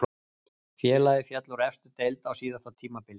Félagið féll úr efstu deild á síðasta tímabili.